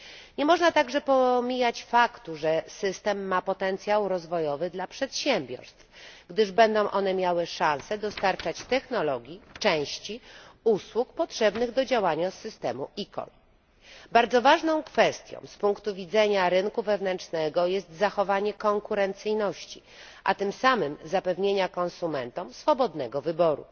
Nie można także pomijać faktu, że system ma potencjał rozwojowy dla przedsiębiorstw, gdyż będą one miały szansę dostarczać technologię, części, usługi potrzebne do działania systemu eCall. Bardzo ważną kwestią z punktu widzenia rynku wewnętrznego jest zachowanie konkurencyjności, a tym samym zapewnienie konsumentom swobodnego wyboru.